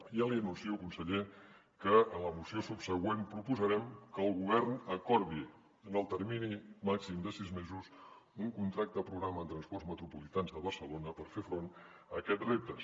ja li anuncio conseller que en la moció subsegüent proposarem que el govern acordi en el termini màxim de sis mesos un contracte programa amb transports metropolitans de barcelona per fer front a aquests reptes